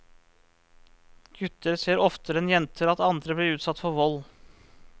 Gutter ser oftere enn jenter at andre blir utsatt for vold.